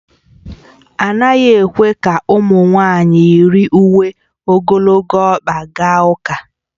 Anaghị ekwe ka ụmụ nwaanyị yiri uwe ogologo ọkpa gaa ụka